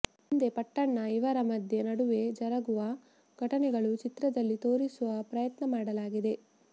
ಮುಂದೆ ಪಟ್ಟಣ್ಣ ಇವರ ಮಧ್ಯೆ ನಡುವೆ ಜರುಗುವ ಘಟನೆಗಳು ಚಿತ್ರದಲ್ಲಿ ತೋರಿಸುವ ಪ್ರಯತ್ನ ಮಾಡಲಾಗಿದೆ